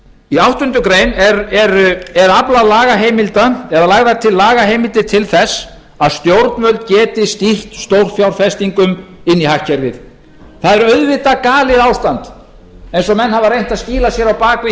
í áttundu grein er aflað lagaheimilda eða lagðar til lagaheimildir til þess að stjórnvöld geti stýrt stórfjárfestingum inn í hagkerfið það er auðvitað galið ástand eins og menn hafa reynt að skýla sér á bak við